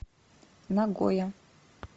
нагоя